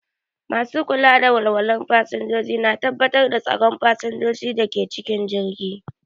Masu kula da walwalar fasinjoji na tabbatar da tsaron fasinjojin da ke cikin jirgi.